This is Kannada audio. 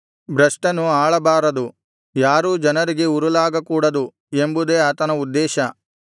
ಭ್ರಷ್ಟನು ಆಳಬಾರದು ಯಾರೂ ಜನರಿಗೆ ಉರುಲಾಗಕೂಡದು ಎಂಬುದೇ ಆತನ ಉದ್ದೇಶ